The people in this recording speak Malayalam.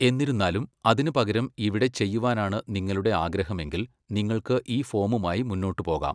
എന്നിരുന്നാലും, അതിനുപകരം ഇവിടെ ചെയ്യുവാനാണ് നിങ്ങളുടെ ആഗ്രഹമെങ്കിൽ, നിങ്ങൾക്ക് ഈ ഫോമുമായി മുന്നോട്ട് പോകാം.